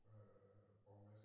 Øh borgmester